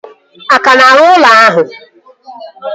A ka na-arụ ụlọ ahụ?